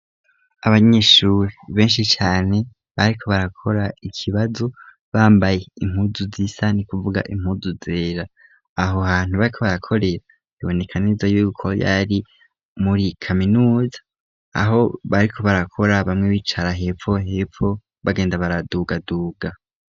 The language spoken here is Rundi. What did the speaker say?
Abanyishuri benshi cane bariko barakora ikibazo bambaye impuzu z'isani kuvuga impuzu zera aho hantu bako barakorera ibonekaniza yuko yari muri kaminuza aho bariko barakora bamwe bicara hepfo hepfo bagenda baradugaduga.